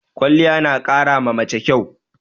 Kwaliya na ƙara ma mace kyau